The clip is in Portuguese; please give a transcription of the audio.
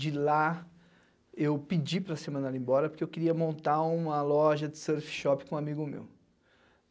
de lá, eu pedi para ser mandado embora porque eu queria montar uma loja de surf shop com um amigo meu.